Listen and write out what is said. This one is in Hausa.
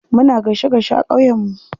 Muna gaishe gaishe a ƙauye mu.